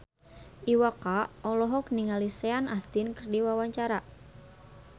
Iwa K olohok ningali Sean Astin keur diwawancara